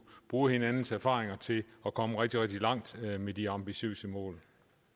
bruge hinandens erfaringer til at komme rigtig rigtig langt med de ambitiøse mål